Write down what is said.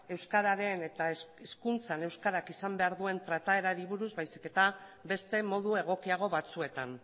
euskararen eta hezkuntzan euskarak izan behar duen trataerari buruz baizik eta beste modu egokiago batzuetan